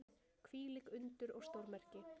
Hvílík undur og stórmerki!